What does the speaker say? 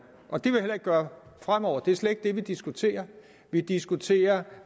og det vil jeg heller ikke gøre fremover men det er slet ikke det vi diskuterer vi diskuterer